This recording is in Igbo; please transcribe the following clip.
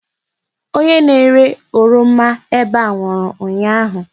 Onye na-ere oroma ebe a nwụrụ ụnyaahụ.